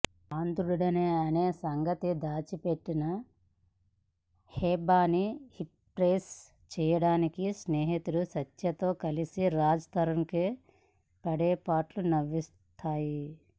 అంధుడిననే సంగతి దాచి పెట్టి హెబ్బాని ఇంప్రెస్ చేయడానికి స్నేహితుడు సత్యతో కలిసి రాజ్ తరుణ్ పడే పాట్లు నవ్విస్తాయి